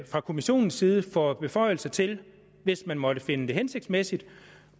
fra kommissionens side får beføjelser til hvis man måtte finde det hensigtsmæssigt